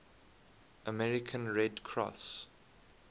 american red cross